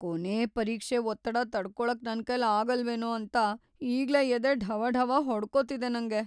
ಕೊನೇ ಪರೀಕ್ಷೆ ಒತ್ತಡ ತಡ್ಕೊಳಕ್ ನನ್ಕೈಲ್ ಆಗಲ್ವೇನೋ ಅಂತ ಈಗ್ಲೇ ಎದೆ ಢವಢವ ಹೊಡ್ಕೋತಿದೆ ನಂಗೆ.